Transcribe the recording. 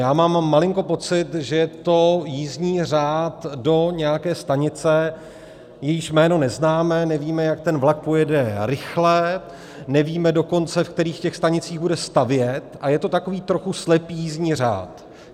Já mám malinko pocit, že je to jízdní řád do nějaké stanice, jejíž jméno neznáme, nevíme, jak ten vlak pojede rychle, nevíme dokonce, v kterých těch stanicích bude stavět, a je to tak trochu slepý jízdní řád.